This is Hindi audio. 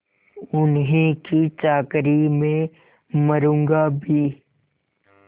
उन्हीं की चाकरी में मरुँगा भी